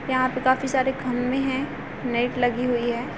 यहाँ पर काफी सारे खम्भे है नेट लगी हुई है।